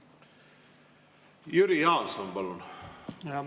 Jüri Jaanson, palun!